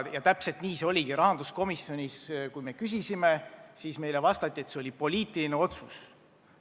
Ja täpselt nii oligi: kui me rahanduskomisjonis seda küsisime, siis meile vastati, et see oli poliitiline otsus.